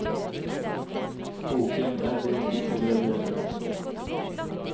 Boken er delt i tre deler.